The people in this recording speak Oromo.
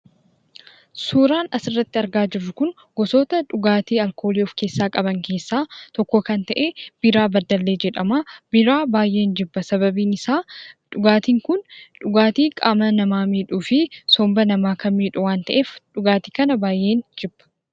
Suuraan asii gaditti argaa jirru kun gosoota dhugaatii alkoolii of keessaa qaban keessaa biiraa baddellee jedhamudha. Biiraa baay'een jibba. Sababiin isaa dhugaatiin kun dhugaatii qaama namaa miidhuu fi somba namaa kan miidhu waan ta'eef dhugaatii kan baay'een jibba.